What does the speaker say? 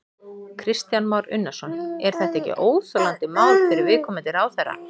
Kristján Már Unnarsson: Er þetta ekki óþolandi mál fyrir viðkomandi ráðherra?